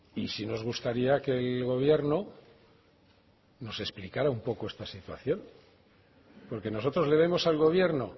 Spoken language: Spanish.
y sí nos gustaría que el gobierno nos explicará un poco esta situación porque nosotros le vemos al gobierno